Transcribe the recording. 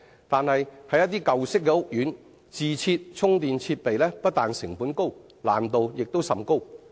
但是，在一些舊式屋苑，自設充電設備不但成本高，難度亦甚大。